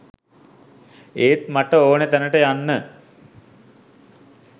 ඒත් මට ඕන තැනට යන්න